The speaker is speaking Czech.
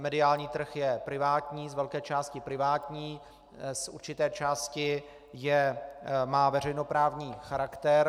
Mediální trh je privátní, z velké části privátní, z určité části má veřejnoprávní charakter.